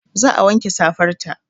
Za a wanke safar ta